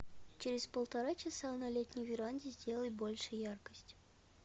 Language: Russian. через полтора часа на летней веранде сделай больше яркость